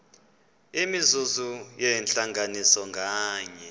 imizuzu yentlanganiso nganye